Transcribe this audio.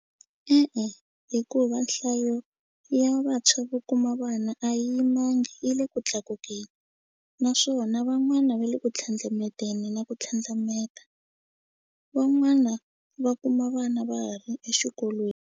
E-e hikuva nhlayo ya vantshwa vo kuma vana a yimangi yi le ku tlakukeni naswona van'wana ve le ku tlhandlameteni na ku tlhandlameta van'wana va kuma vana va ha ri exikolweni.